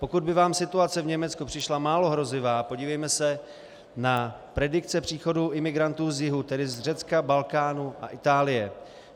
Pokud by vám situace v Německu přišla málo hrozivá, podívejme se na predikce příchodu imigrantů z jihu, tedy z Řecka, Balkánu a Itálie.